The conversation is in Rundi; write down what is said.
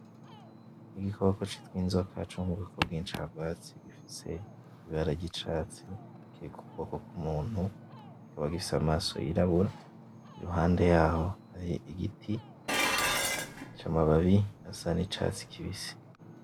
N'igikoko citw' inzoka co mu bwoko bw'incagwatsi gifise ibara ry'icatsi, kiri ku kuboko k'umuntu, kikaba gifise amaso yirabura, iruhande y'aho hari igiti c'amababi asa n'icatsi kibisi.